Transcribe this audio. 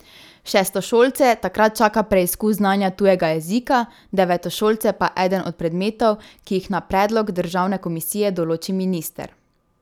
Šestošolce takrat čaka preizkus znanja tujega jezika, devetošolce pa eden od predmetov, ki jih na predlog državne komisije določi minister.